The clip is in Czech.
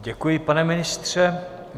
Děkuji, pane ministře.